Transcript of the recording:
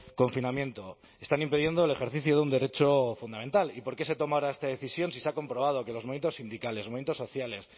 confinamiento están impidiendo el ejercicio de un derecho fundamental y por qué se toma ahora esta decisión si se ha comprobado que los movimientos sindicales los movimientos sociales